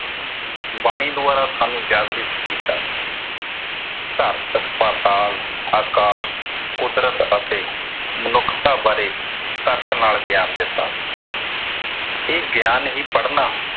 ਬਾਣੀ ਦੁਆਰਾ ਸਾਨੂੰ ਜਾਗ੍ਰਿਤ ਕੀਤਾ । ਧਰਤ, ਪਾਤਾਲ, ਆਕਾਸ਼, ਕੁਦਰਤ ਅਤੇ ਮਨੁੱਖਤਾ ਬਾਰੇ ਤਰਕ ਨਾਲ ਗਿਆਨ ਦਿੱਤਾ। ਇਹ ਗਿਆਨ ਹੀ ਪੜਨਾ